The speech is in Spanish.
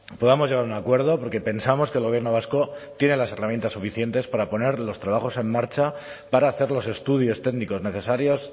podamos llegar a un acuerdo porque pensamos que el gobierno vasco tiene las herramientas suficientes para poner los trabajos en marcha para hacer los estudios técnicos necesarios